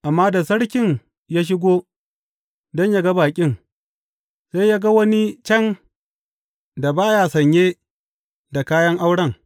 Amma da sarkin ya shigo don yă ga baƙin, sai ya ga wani can da ba ya sanye da kayan auren.